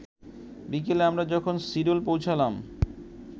বিকেলে আমরা যখন সিডন পৌঁছালাম